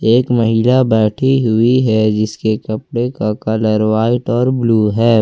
एक महिला बैठी हुई है जिसके कपड़े का कलर व्हाइट और ब्लू है।